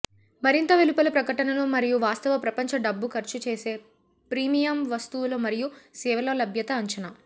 మరింత వెలుపల ప్రకటనలు మరియు వాస్తవ ప్రపంచ డబ్బు ఖర్చు చేసే ప్రీమియమ్ వస్తువుల మరియు సేవల లభ్యత అంచనా